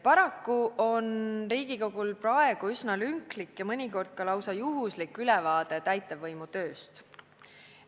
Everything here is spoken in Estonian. Paraku on Riigikogul praegu aga üsna lünklik ja mõnikord lausa juhuslik ülevaade täitevvõimu tööst.